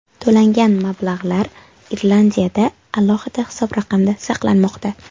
To‘langan mablag‘lar Irlandiyada alohida hisob raqamda saqlanmoqda.